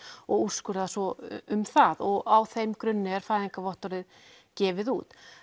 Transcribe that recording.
og úrskurðar svo um það á þeim grunni er fæðingarvottorðið gefið út